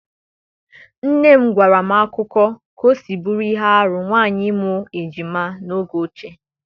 nne m gwara m akụkọ ka ọ si bụrụ ihe arụ ụmụ nwanyị ịmụ ejima n'oge ochie.